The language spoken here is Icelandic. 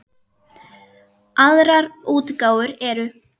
Aðrar útgáfur eru